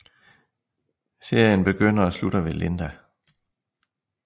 Serien begynder og slutter ved Linda